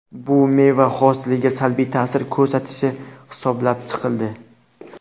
Bu meva hosiliga salbiy ta’sir ko‘rsatishi hisoblab chiqildi.